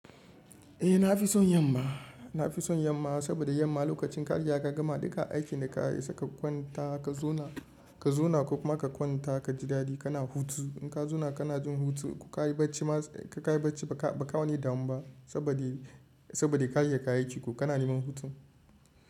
Eh na fi son yamma, na fi son yamma saboda yamma lokacin kariga ka gama duka aikin da ka yi saka kwanta ka zauna, ka zauna ko kuma ka kwanta ka ji dadi kana hutu. In ka zauna kana jin hutu ko ka yi bacci ma, ka yi bacci ba ka wane damu ba saboda ka yi duka aikinku kana neman hutu.